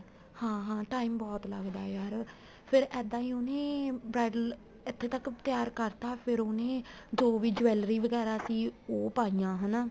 ਹਾਂ ਹਾਂ time ਬਹੁਤ ਲੱਗਦਾ ਹੈ ਯਾਰ ਫ਼ੇਰ ਇਹਦਾ ਹੀ ਉਹਨੇ bridal ਇੱਥੇ ਤੱਕ ਤਿਆਰ ਕਰਤਾ ਫ਼ਿਰ ਉਹਨੇ ਜੋ ਵੀ jewelry ਵਗੈਰਾ ਸੀ ਉਹ ਪਾਈਆਂ ਹਨਾ